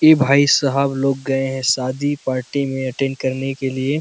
इ भाई साहब लोग गए है शादी पार्टी में अटेंड करने के लिए--